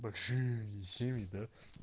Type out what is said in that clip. большие семьи да